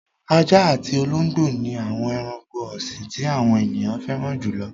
Ajá àti olóńgbò ni àwọn ẹranko ọ̀sìn tí àwọn ènìyàn fẹ́ràn jù lọ.